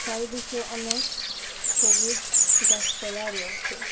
চারিদিকে অনেক সবুজ গাছপালা রয়েসে।